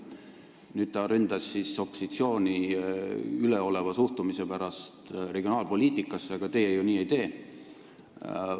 Nüüd ründas ta opositsiooni üleoleva suhtumise pärast regionaalpoliitikasse, aga teie ju nii ei tee.